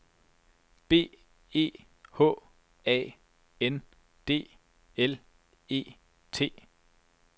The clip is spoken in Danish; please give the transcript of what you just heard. B E H A N D L E T